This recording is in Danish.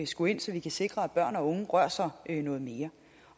skulle ind så vi kan sikre at børn og unge rører sig noget mere